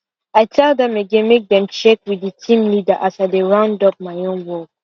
i tell dem again make dem check with d team leader as i dey round up my own work